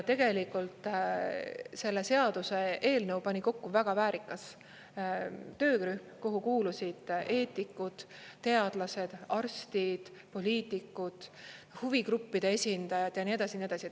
Tegelikult selle seaduseelnõu pani kokku väga väärikas töörühm, kuhu kuulusid eetikud, teadlased, arstid, poliitikud, huvigruppide esindajad ja nii edasi ja nii edasi.